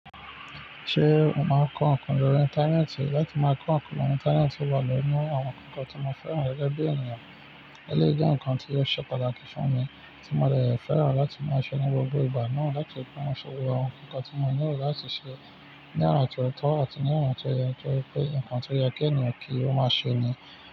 Ṣé o máa ń kọ́ nǹkan lórí Íńtánẹ́ẹ̀tì? Láti máa kọ́ nǹkan lórí Íńtánẹ́ẹ̀tì wà nínú àwọn kankan tí mo fẹ́ràn rẹ̀ gẹ́gẹ́ bí ènìyàn. Eléyìí jẹ́ nǹkan tí ó ṣe pàtàkì fún mi tí mo le dẹ̀ fẹ́ràn láti máa ṣe ní gbogbo ìgbà náà láti máa ṣe gbogbo àwọn nǹkan tí mo lérò láti ṣe ní ọ̀nà tí ó tọ́ àti ní ọ̀nà tí ó yẹ nítorí nǹkan tí ó yẹ kí ènìyàn kí ó máa ṣe nìyẹn.